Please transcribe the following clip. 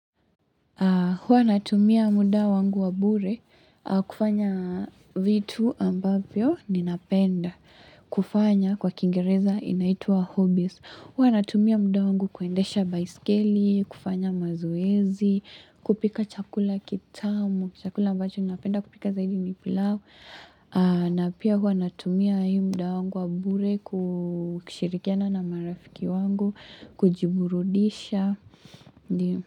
Huwa natumia muda wangu wa bure kufanya vitu ambavyo ninapenda kufanya kwa kiingereza inaitwa hobbies. Huwa natumia muda wangu kuendesha baiskeli, kufanya mazoezi, kupika chakula kitamu, chakula ambacho ninapenda kupika zaidi ni pilau. Na pia huwa natumia hii muda wangu wa bure kushirikiana na marafiki wangu, kujiburudisha. Ndio.